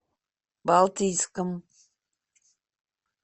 балтийском